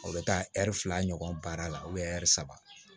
O bɛ taa ɛri fila ɲɔgɔn baara la ɛri saba